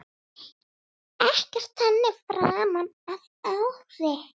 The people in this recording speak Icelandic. Ekkert þannig framan af ári.